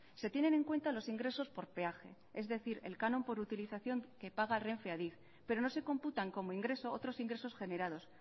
se tienen en cuenta los ingresos por peaje es decir el canon por utilización que paga renfe a adif pero no se computan como ingreso otros ingresos generados